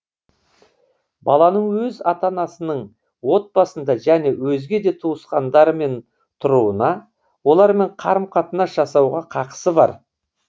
баланың өз ата анасының отбасында және өзге де туысқандарымен тұруына олармен қарым қатынас жасауға қақысы бар